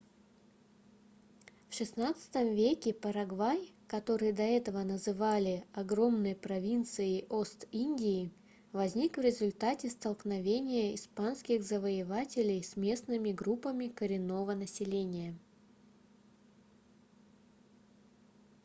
в xvi веке парагвай который до этого называли огромной провинцией ост-индии возник в результате столкновения испанских завоевателей с местными группами коренного населения